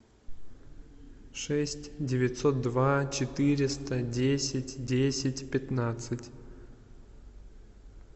шесть девятьсот два четыреста десять десять пятнадцать